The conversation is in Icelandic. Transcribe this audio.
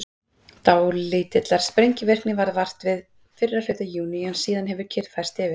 Dálítillar sprengivirkni varð vart fyrri hluta júní en síðan hefur kyrrð færst yfir.